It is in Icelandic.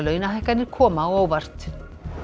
launahækkanir koma á óvart